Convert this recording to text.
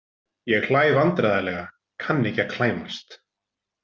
Ég hlæ vandræðalega, kann ekki að klæmast.